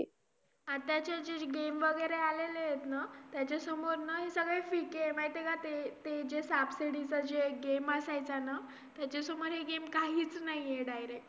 आताचे जे Game वगैरे आलेले एत ना त्याच्या समोर ना हे सगळे फिके माहिती का ते ते जे साप सीडी चा जे Game असायचा ना त्याच्यासमोर हे Game काहीच नाहीये Direct